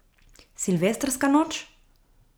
Silvestrska noč?